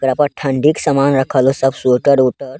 ऐकरा पर ठंड़ी क समान रखल हो सब स्वेटर - उटर।